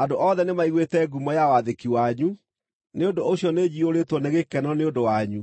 Andũ othe nĩmaiguĩte ngumo ya wathĩki wanyu, nĩ ũndũ ũcio nĩnjiyũrĩtwo nĩ gĩkeno nĩ ũndũ wanyu;